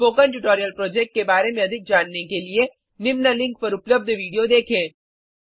spoken tutorial project के बारे में अधिक जानने के लिए निम्न लिंक पर उपलब्ध विडिओ देखें